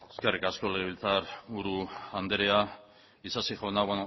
eskerrik asko legebiltzar buru anderea isasi jauna